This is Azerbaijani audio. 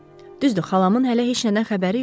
Düzdür, xalamın hələ heç nədən xəbəri yoxdur.